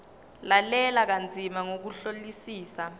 lalela kanzima ngokuhlolisisa